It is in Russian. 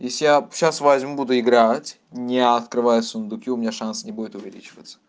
если я сейчас возьму буду играть не открывая сундуки у меня шанс не будет увеличиваться